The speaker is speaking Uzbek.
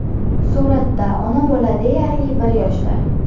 Suratda ona bola deyarli bir yoshda.